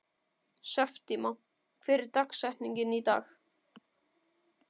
Septíma, hver er dagsetningin í dag?